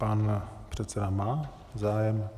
Pan předseda má zájem?